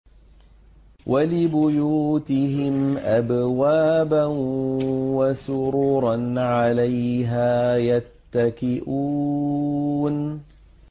وَلِبُيُوتِهِمْ أَبْوَابًا وَسُرُرًا عَلَيْهَا يَتَّكِئُونَ